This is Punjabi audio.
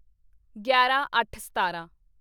ਗਿਆਰਾਂਅੱਠਸਤਾਰਾਂ